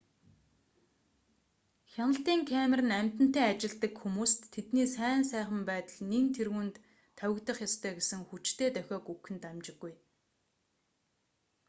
хяналтын камер нь амьтантай ажилладаг хүмүүст тэдний сайн сайхан байдал нэн тэргүүнд тавигдах ёстой гэсэн хүчтэй дохиог өгөх нь дамжиггүй